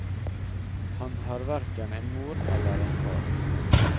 Han har hverken en mor eller en far.